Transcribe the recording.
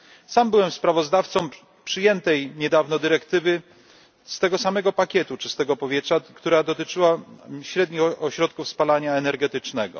Sam byłem sprawozdawcą przyjętej niedawno dyrektywy z tego samego pakietu czystego powietrza, która dotyczyła średnich ośrodków spalania energetycznego.